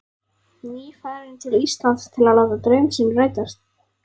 Nýfarinn til Íslands til að láta draum sinn rætast.